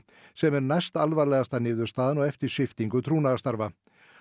sem er næstalvarlegasta niðurstaðan á eftir sviptingu trúnaðarstarfa